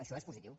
això és positiu